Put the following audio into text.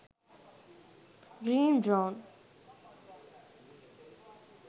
green brown